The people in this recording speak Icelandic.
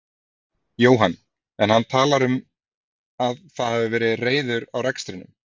Jóhann: En hann talar um að það hafi verið reiður á rekstrinum?